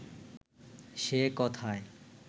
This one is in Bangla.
সে কথায়